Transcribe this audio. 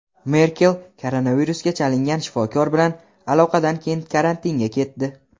Merkel koronavirusga chalingan shifokor bilan aloqadan keyin karantinga ketdi.